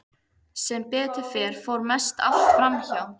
Sem betur fer fór mest allt fram hjá.